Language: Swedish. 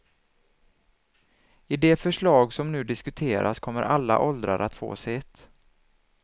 I det förslag som nu diskuteras kommer alla åldrar att få sitt.